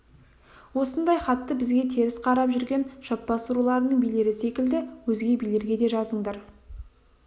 осындай хатты бізге теріс қарап жүрген жаппас руларының билері секілді өзге билерге де жазыңдар